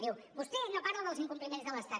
diu vostè no parla dels incompliments de l’estat